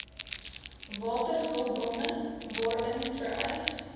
waterhulpbronne waarin vereis